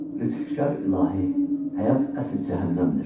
Lütfkar ilahi, həyat əsl cəhənnəmdir.